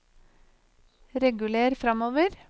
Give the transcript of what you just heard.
reguler framover